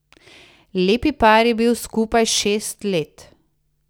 Lepi par je bil skupaj šest let.